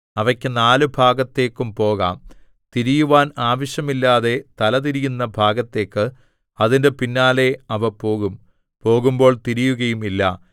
അവയ്ക്കു നാല് ഭാഗത്തേക്കും പോകാം തിരിയുവാൻ ആവശ്യമില്ലാതെ തലതിരിയുന്ന ഭാഗത്തേക്ക് അതിന്റെ പിന്നാലെ അവ പോകും പോകുമ്പോൾ തിരിയുകയുമില്ല